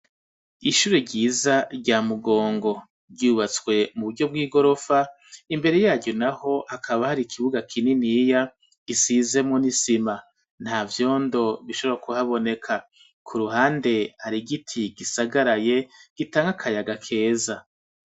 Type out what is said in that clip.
Ishuri ryiza rya Mugongo ryubatswe mu buryo bw'igorofa imbere yaryo naho hakaba hari ikibuga kininiya gisizemwo n'isima nta vyondo bishobora ku haboneka ku ruhande hari igiti gisagaraye gitanga akayaga keza.